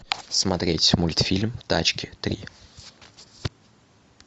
смотреть мультфильм тачки три